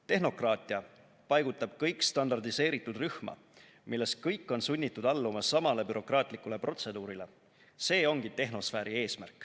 Tehnokraatia paigutab kõik standardiseeritud rühma, milles kõik on sunnitud alluma samale bürokraatlikule protseduurile – see ongi tehnosfääri eesmärk.